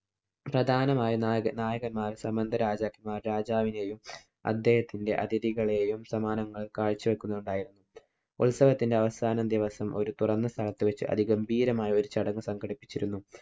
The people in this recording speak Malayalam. പ്രധാനമായും നായക~ നായകന്മാര്‍, സാമന്ത രാജാക്കന്മാര്‍ രാജാവിനെയും അദ്ദേഹത്തിന്‍റെ അതിഥികളെയും സമ്മാനങ്ങള്‍ കാഴ്ച വെക്കുന്നുണ്ടായിരുന്നു. ഉത്സവത്തിന്‍റെ അവസാന ദിവസം ഒരു തുറന്ന സ്ഥലത്ത് വച്ച് അതിഗംഭീരമായ ഒരു ചടങ്ങ് സംഘടിപ്പിച്ചിരുന്നു.